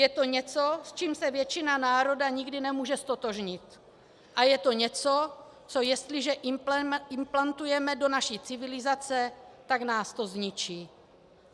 Je to něco, s čím se většina národa nikdy nemůže ztotožnit, a je to něco, co jestliže implantujeme do naší civilizaci, tak nás to zničí."